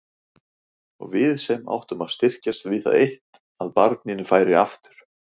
Og við sem áttum að styrkjast við það eitt að barninu færi aftur.